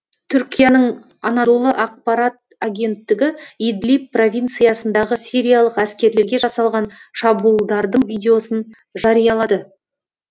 түркияның анадолы ақпарат агенттігі идлиб провинциясындағы сириялық әскерлерге жасалған шабуылдардың видеосын жариялады